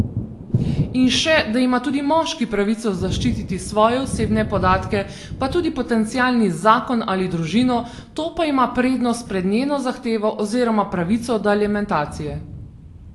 In še, da ima tudi moški pravico zaščititi svoje osebne podatke pa tudi potencialni zakon ali družino, to pa ima prednost pred njeno zahtevo oziroma pravico do alimentacije.